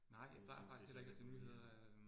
Jeg synes det så deprimerende